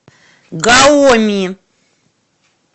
гаоми